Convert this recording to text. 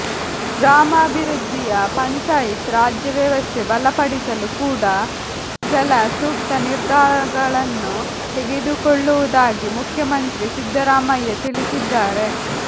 ಗ್ರಾಮೀಣಾಭಿವೃದ್ಧಿಯ ಪಂಚಾಯಿತ್ ರಾಜ್ಯ ವ್ಯವಸ್ಥೆ ಬಲಪಡಿಸಲು ಕೂಡಾ ಕೆಲ ಸೂಕ್ತ ನಿರ್ಧಾರಗಳನ್ನು ತೆಗೆದುಕೊಳ್ಳುವುದಾಗಿ ಮುಖ್ಯಮಂತ್ರಿ ಸಿದ್ದರಾಮಯ್ಯ ತಿಳಿಸಿದ್ದಾರೆ